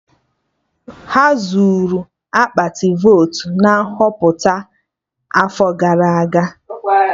Ha zuru akpati votu na Nhọpụta afọ gara aga